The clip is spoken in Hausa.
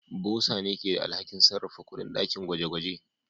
Bursar ne ke da alhakin sarrafa kuɗin dakin gwaje-gwaje.